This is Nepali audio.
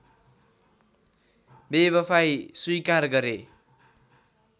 बेवफाइ स्वीकार गरे